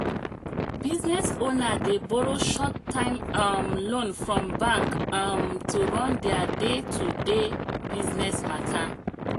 business owner dey borrow short-time um loan from bank um to run their day-to-day business matter.